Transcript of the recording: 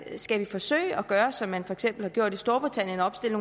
skal vi forsøge at gøre som de for eksempel har gjort i storbritannien og opstille